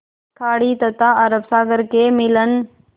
खाड़ी तथा अरब सागर के मिलन